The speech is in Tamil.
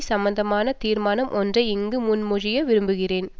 சம்பந்தமான தீர்மானம் ஒன்றை இங்கு முன்மொழிய விரும்புகிறேன்